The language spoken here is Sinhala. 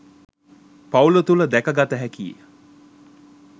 පවුල තුළ දැකගත හැකි ය.